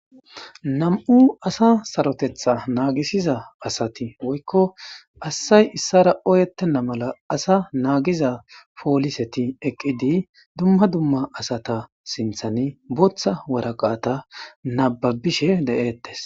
Nam'u asa sarotetha naagisiza asati woykko assay issara oyettenna mala asa naagiza pooliseti eqqidi dumma dumma asata sinthani booththa waraqata nababishe de'eettes.